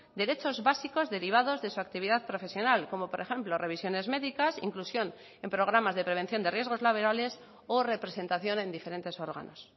derechos básicos derivados de su actividad profesional como por ejemplo revisiones médicas inclusión en programas de prevención de riesgos laborales o representación en diferentes órganos